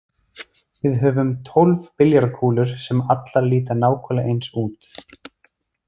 Við höfum tólf billjarðskúlur sem allar líta nákvæmlega eins út.